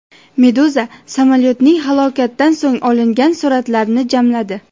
Meduza samolyotning halokatdan so‘ng olingan suratlarini jamladi .